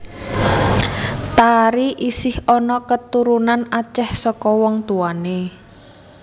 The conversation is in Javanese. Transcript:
Tari isih ana keturunan Acéh saka wong tuwane